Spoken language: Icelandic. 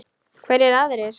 Hverjir aðrir?